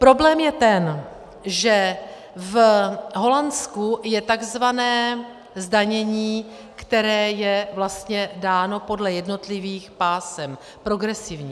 Problém je ten, že v Holandsku je tzv. zdanění, které je vlastně dáno podle jednotlivých pásem, progresivní.